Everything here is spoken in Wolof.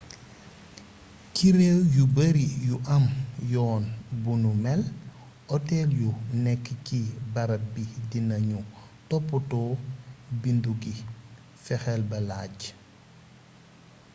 ci réew yu bari yu am yoon buni mel otel yu nekk ci barab bi dina ñu toppatoo bindu gi fexel ba laaj